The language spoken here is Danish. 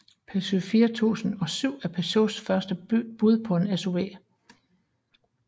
Peugeot 4007 er Peugeots første bud på en SUV